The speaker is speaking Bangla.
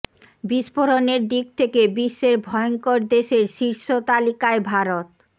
বিস্ফোরণের দিক থেকে বিশ্বের ভয়ঙ্কর দেশের শীর্ষ তালিকায় ভারত